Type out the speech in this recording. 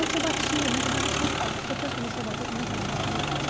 Antes eu batia, mas eu batia ah depois eu comecei a bater com muita facilidade.